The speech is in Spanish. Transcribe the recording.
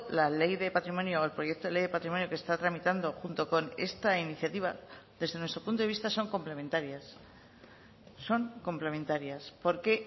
la ley de patrimonio el proyecto de ley de patrimonio que está tramitando junto con esta iniciativa desde nuestro punto de vista son complementarias son complementarias porque